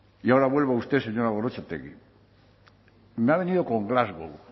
y ahora vuelvo a usted señora gorrotxategi me ha venido con glasgow